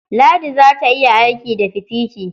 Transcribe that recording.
Ladi za ta iya aiki da fitiki.